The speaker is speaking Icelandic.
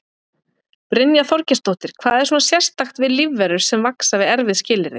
Brynja Þorgeirsdóttir: Hvað er svona sérstakt við lífverur sem vaxa við erfið skilyrði?